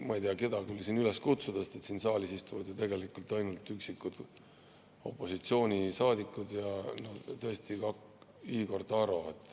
Ma ei tea, keda küll siin üles kutsuda on, sest siin saalis istuvad ju tegelikult ainult üksikud opositsioonisaadikud ja tõesti ka Igor Taro.